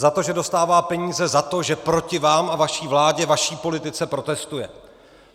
Za to, že dostává peníze za to, že proti vám a vaší vládě, vaší politice protestuje.